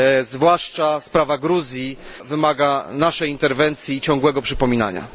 Zwłaszcza sprawa Gruzji wymaga naszej interwencji i ciągłego przypominania.